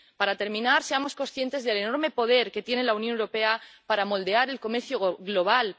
Para terminar, seamos conscientes del enorme poder que tiene la Unión Europea para moldear el comercio global.